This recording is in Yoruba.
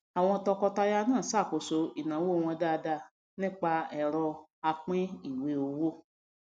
àwọn tọkọtaya na ṣàkóso ìnáwó wọn dáadáa nípa ẹrọ apín ìwé owó